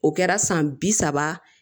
O kɛra san bi saba